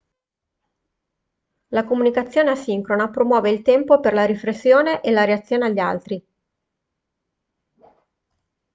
la comunicazione asincrona promuove il tempo per la riflessione e la reazione agli altri